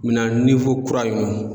Minan kura in